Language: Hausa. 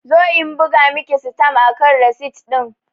Zo in buga Miki sitam akan risit din!